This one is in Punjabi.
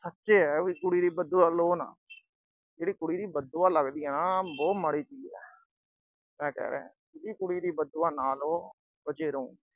ਸੱਚ ਇਹ ਹੈ ਵੀ ਕੁੜੀ ਦੀ ਬਦਦੁਆ ਲਓ ਨਾ। ਜਿਹੜੀ ਕੁੜੀ ਦੀ ਬਦਦੁਆ ਲੱਗਦੀ ਆ ਨਾ ਉਹ ਬਹੁਤ ਮਾੜੀ ਚੀਜ ਆ। ਮੈਂ ਕਹਿ ਰਿਹਾ ਕੁੜੀ ਦੀ ਬਦਦੁਆ ਨਾ ਲਓ, ਬਚੇ ਰਹੋ।